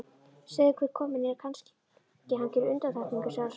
Segðu hver kominn er, kannski hann geri undantekningu, sagði sonurinn.